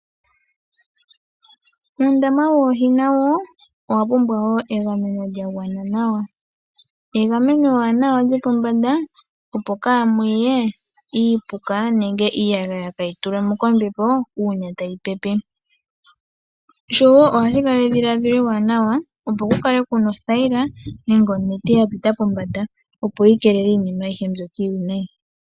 Uundama woohi nawo owa pumbwa wo egameno lya gwana nawa. Egameno ewanawa lyopombanda, opo kaamu ye iipuka nenge iiyagaya tayi tulwa mo kombepo uuna tayi pepe. Ohashi kala edhiladhilo ewanawa, opo ku kale ku na othayila nenge onete ya pita pombanda, opo yi keelele iinima ayihe mbyoka iiwinayi.